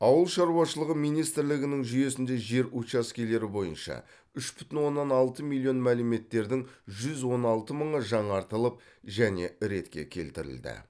ауыл шаруашылығы министрлігінің жүйесінде жер учаскелері бойынша үш бүтін оннан алты миллион мәліметтердің жүз он алты мыңы жаңартылып және ретке келтірілді